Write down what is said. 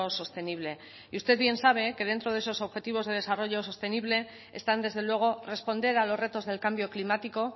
sostenible y usted bien sabe que dentro de esos objetivos del desarrollo sostenible están desde luego responder a los retos del cambio climático